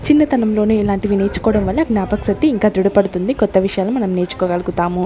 చిన్నతనంలోనే ఇలాంటివి నేర్చుకోవడం వల్ల జ్ఞాపక శక్తి ఇంకా ధృడపడుతుంది కొత్త విషయాలు మనం నేర్చుకోగలుగుతాము.